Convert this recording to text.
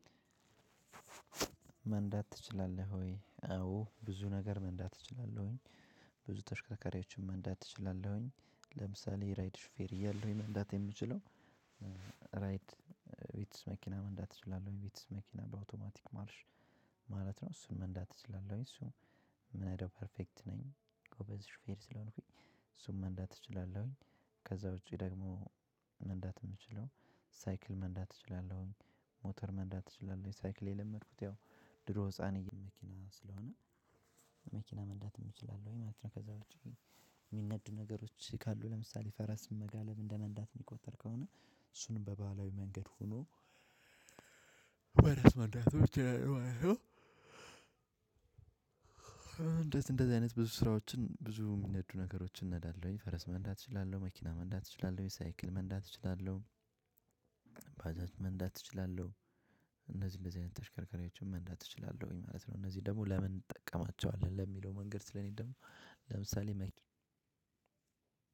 መንዳት ትችላለህ ወይ? አዎ ብዙ ነገር መንዳት እችላለሁኝ። ብዙ ተሽከርከሪዎችን መንዳት እችላለሁኝ ለምሳሌ ራይድ ሹፌር እያለሁኝ መንዳት የምችለው። ራይድ ቪትዝ መኪና መንዳት እችላለሁ ቪትዝ መኪና በአውቶማቲክ ማርሽ። ማለት ነው እሱን መንዳት እችላለሁ እሱ ምነዳው ፐርፌክት ነኝ። ጎበዝ ሽፌር ስለሆንኩኝ እሱን መንዳት እችላለሁኝ። ከዛ ውጪ ደግሞ መንዳት የምችለው ሳይክል መንዳት እችላለሁኝ። ሞተር መንዳት እችላለሁኝ ሳይክል የለመድኩት ያው ድሮ ህፃን መኪና ስለሆነ መኪና መንዳትም እንችላለሁኝ ማለት ነው። ከዛ ውጪ ግን የሚነዱ ነገሮች ካሉ ለምሳሌ ፈረስ መጋለብ እንደመንዳት የሚቆጠር ከሆነ እሱንም በባህላዊ መንገድ ሆኖ ፈረስ መንዳትም እችላለሁ ማለት ነው። እንደዚህ እንደዚህ አይነት ብዙ ስራዎችን ብዙ የሚነዱ ነገሮችን ነዳለሁኝ ፈረስ መንዳት እችላለሁ መኪና መንዳት እችላለሁ የሳይክል መንዳት እችላለሁ። ባጃጅ መንዳት እችላለሁ እነዚህ እንደዚህ አይነት ተሽከርካሪዎችን መንዳት እችላለሁኝ ማለት ነው። እነዚህ ደግሞ ለምን እንጠቀማቸዋለን ለሚለው መንገድ ስለኔ ደግሞ ለምሳሌ መ